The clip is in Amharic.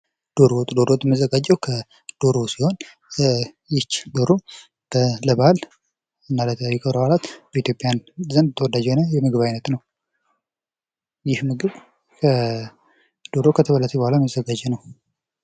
ዶሮ ወጥ ዶሮ ወጥ የሚዘጋጀው ከዶሮ ሲሆን ይች ዶሮ ለበዓልና ለተለያዩ ክብረ በዓላት በኢትዮጵያውያን ዘንድ ተወዳጅ የሆነ የምግብ አይነት ነው ይህ ምግብ ዶሮ ከተበለተች በኋላ የሚዘጋጅ ነው ::